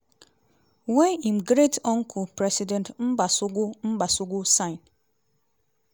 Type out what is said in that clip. wey im great uncle president mbasogo mbasogo sign.